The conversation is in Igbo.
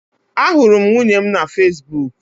Ahụrụ m nwunye m na Fesbuk